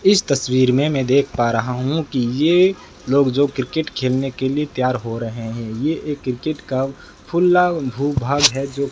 इस तस्वीर में मैं देख पा रहा हूं कि ये लोग जो क्रिकेट खेलने के लिए तैयार हो रहे हैं ये एक क्रिकेट का खुला भू भाग है जो --